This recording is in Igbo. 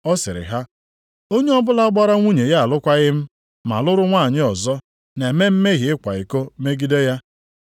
Ọ sịrị ha, “Onye ọbụla gbara nwunye ya alụkwaghị m ma lụrụ nwanyị ọzọ na-eme mmehie ịkwa iko megide ya.